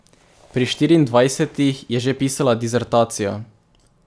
Pri štiriindvajsetih je že pisala disertacijo.